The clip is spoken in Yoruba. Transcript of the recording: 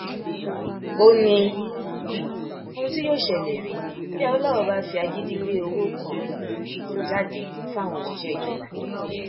ó ní um ohun tí yóò ṣẹlẹ rèé bí awolowo bá fi agídí gbé owó kan um jáde fáwọn òṣìṣẹ ìjọba